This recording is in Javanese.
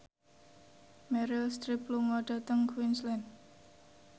Meryl Streep lunga dhateng Queensland